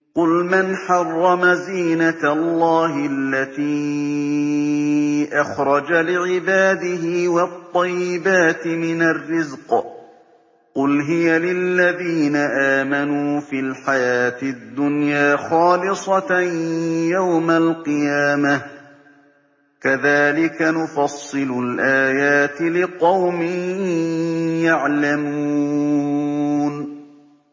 قُلْ مَنْ حَرَّمَ زِينَةَ اللَّهِ الَّتِي أَخْرَجَ لِعِبَادِهِ وَالطَّيِّبَاتِ مِنَ الرِّزْقِ ۚ قُلْ هِيَ لِلَّذِينَ آمَنُوا فِي الْحَيَاةِ الدُّنْيَا خَالِصَةً يَوْمَ الْقِيَامَةِ ۗ كَذَٰلِكَ نُفَصِّلُ الْآيَاتِ لِقَوْمٍ يَعْلَمُونَ